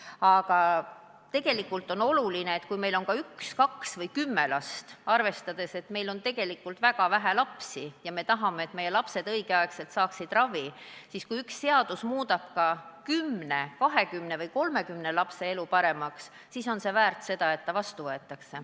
Aga tegelikult on oluline see, et kui meil on ka üks, kaks või kümme last – arvestades, et meil on tegelikult väga vähe lapsi – ja me tahame, et meie lapsed õigel ajal ravi saaksid, siis kui üks seadus muudab kas või 10, 20 või 30 lapse elu paremaks, on see väärt, et see vastu võetaks.